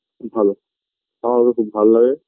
ভালো আমার ওকে খুব ভালো লাগে